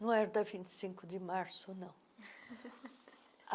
Não era da vinte e cinco de março, não.